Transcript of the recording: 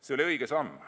See oli õige samm.